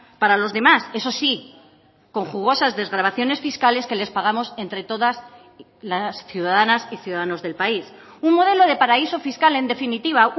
para los demás eso sí con jugosas desgravaciones fiscales que les pagamos entre todas las ciudadanas y ciudadanos del país un modelo de paraíso fiscal en definitiva